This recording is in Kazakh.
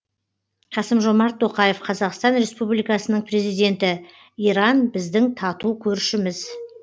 қасым жомарт тоқаев қазақстан республикасының президенті иран біздің тату көршіміз